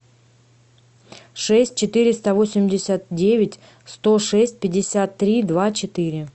шесть четыреста восемьдесят девять сто шесть пятьдесят три два четыре